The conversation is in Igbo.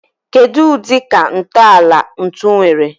Kedu udi ka ntọala ntu nwere?